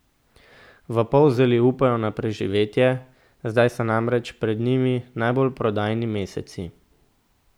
V Polzeli upajo na preživetje, zdaj so namreč pred njimi najbolj prodajni meseci.